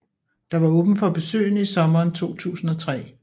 Der var åbent for besøgende i sommeren 2003